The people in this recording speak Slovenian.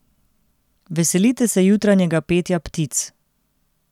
Veselite se jutranjega petja ptic.